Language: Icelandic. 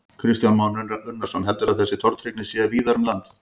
Kristján Már Unnarsson: Heldurðu að þessi tortryggni sé víðar um land?